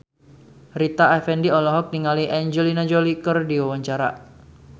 Rita Effendy olohok ningali Angelina Jolie keur diwawancara